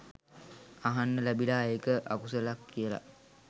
අහන්න ලැබිලා ඒක අකුසල් කියලා